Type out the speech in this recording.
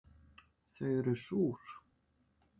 Þau eru súr